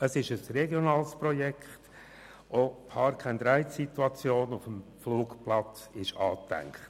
Es ist ein regionales Projekt, und auch die «Park+Ride»-Situation auf dem Flugplatz ist angedacht.